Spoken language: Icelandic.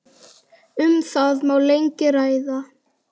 Um það má lengi ræða.